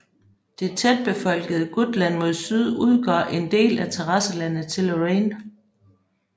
Det tætbefolkede Gutland mod syd udgør en del af terrasselandet til Lorraine